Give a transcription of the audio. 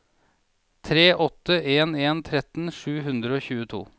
tre åtte en en tretten sju hundre og tjueto